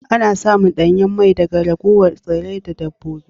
Ana samun danyen mai daga ragowar tsirrai da dabbobi